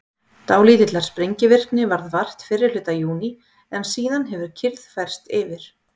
Dálítillar sprengivirkni varð vart fyrri hluta júní en síðan hefur kyrrð færst yfir.